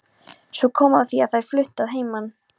Svo kom að því að þær fluttu að heiman.